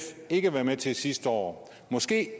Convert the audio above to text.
ikke være med til sidste år måske kan